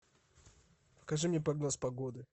покажи мне прогноз погоды